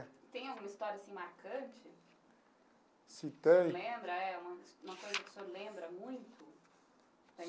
Tem alguma história assim marcante? Se tem? Lembra, é, uma uma coisa que o senhor lembra muito?